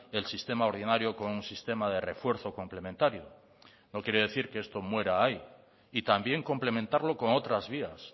el sistema ordinario con un sistema de refuerzo complementario no quiere decir que esto muera ahí y también complementarlo con otras vías